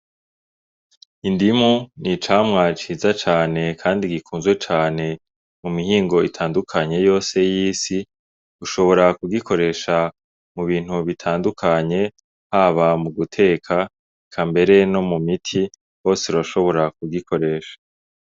Indimu n'icamwa ciza cane kandi gikunzwe cane mu mihingo itandukanye yose y'isi. Ushobora kuyikoresha mu bintu bitandukanye, haba mu guteka, eka mbere no mu miti, hose urashobora kuyikoresha.